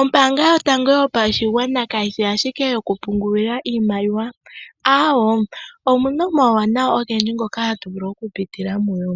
Ombanga yotango yopashigwana kayishi ashike yoku pungulila iimaliwa, aawoo, omuna omauwanawa ogendji ngoka tatu vulu oku pitila muyo.